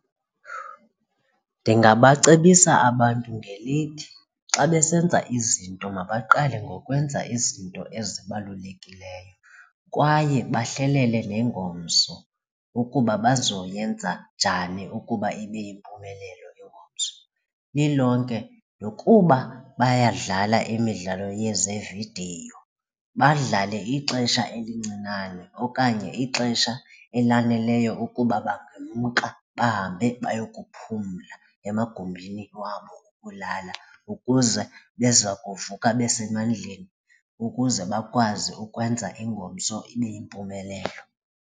Ndingabacebisa abantu ngelithi xa besenza izinto mabaqale ngokwenza izinto ezibalulekileyo kwaye bahlelele nengomso ukuba bazoyenza njani ukuba ibe yimpumelelo ingomso. Lilonke nokuba bayadlala imidlalo yezevidiyo badlale ixesha elincinane okanye ixesha elaneleyo ukuba bangamka bahambe bayokuphumla emagumbini wabo okulala ukuze beza kuvuka besemandleni ukuze bakwazi ukwenza ingomso ibe yimpumelelo.